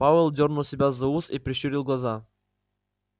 пауэлл дёрнул себя за ус и прищурил глаза